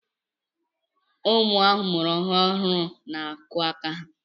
Ụmụ amụrụ ọhụụ n'akụ aka ha